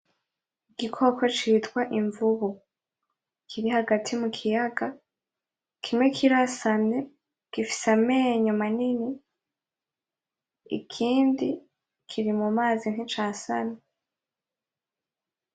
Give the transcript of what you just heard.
Igikoko citwa Imvubu kiri hagati mukiyaga ,Kimwe kirasamye gifise amenyo manini ikindi kiri mumazi nticasamye.